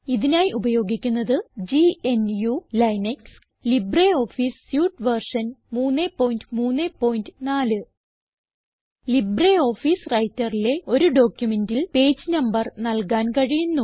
ഇതിനായി ഉപയോഗിക്കുന്നത് GNU Linux LibreOffice suite version 334 LibreOffice Writerലെ ഒരു ഡോക്യുമെന്റിൽ പേജ് നമ്പർ നൽകാൻ കഴിയുന്നു